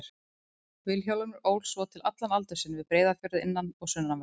Vilhjálmur ól svo til allan aldur sinn við Breiðafjörð, innan- og sunnanverðan.